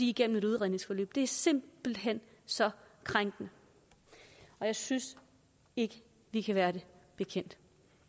igennem et udredningsforløb for det er simpelt hen så krænkende og jeg synes ikke vi kan være det bekendt